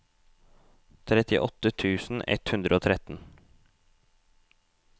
trettiåtte tusen ett hundre og tretten